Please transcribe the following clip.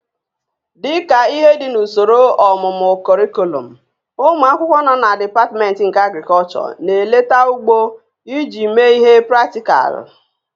Dịka ihe dị n'usoro ọmụmụ kọrịkọlọm, ụmụ akwụkwọ nọ na dipatmentị nke Agrịkọlchọ na-eleta ugbo iji mee ihe praktịkalụ